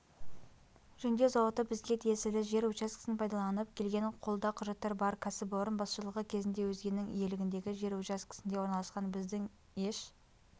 жөндеу зауыты бізге тиесілі жер учаскесін пайдаланып келген қолда құжаттар бар кәсіпорын басшылығы кезінде өзгенің иелігіндегі жер учаскесінде орналасқан біздің еш